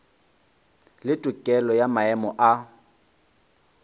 le tokelo ya maemo a